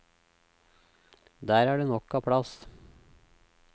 Der er det nok av plass.